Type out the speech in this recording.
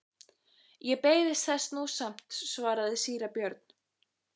Ég beiðist þess nú samt, svaraði síra Björn.